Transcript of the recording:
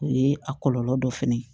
O ye a kɔlɔlɔ dɔ fɛnɛ ye